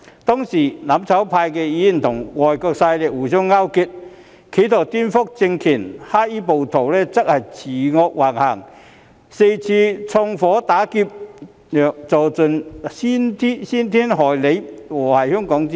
當時，"攬炒派"議員與外國勢力互相勾結，企圖顛覆政權；黑衣暴徒則恃惡橫行，四處縱火打劫，做盡傷天害理、禍壞香港的事情。